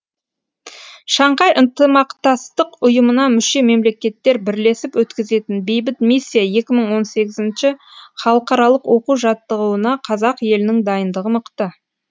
шанхай ынтымақтастық ұйымына мүше мемлекеттер бірлесіп өткізетін бейбіт миссия екі мың он сегізінші халықаралық оқу жаттығуына қазақ елінің дайындығы мықты